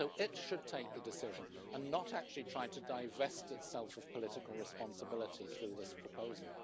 So it should take the decision and not actually try to divest itself of political responsibility through this proposal.